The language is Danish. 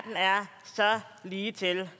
så ligetil